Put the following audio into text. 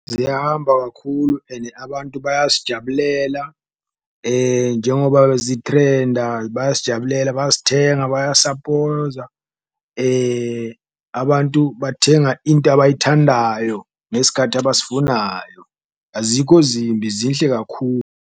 Ziyahamba kakhulu ene abantu bayazijabulela njengoba zi-trend-a bayazijabulela, bayazithenga, bayasapoza, abantu bathenga into abayithandayo ngesikhathi abasifunayo, azikho zimbi zinhle .